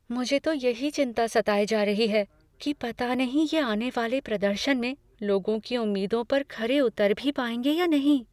मुझे तो यही चिंता सताई जा रही है कि पता नहीं ये आने वाले प्रदर्शन में लोगों की उम्मीदों पर खरे उतर भी पाएंगे या नहीं।